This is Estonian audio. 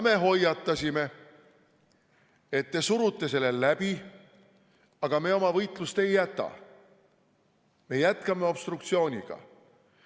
Me hoiatasime, et te surute selle läbi, aga me oma võitlust ei jäta, me jätkame obstruktsiooniga.